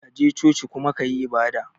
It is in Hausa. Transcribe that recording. kaje coci kuma kayi ibada.